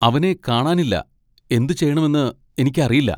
അവനെ കാണാനില്ല, എന്തുചെയ്യണമെന്ന് എനിക്കറിയില്ല.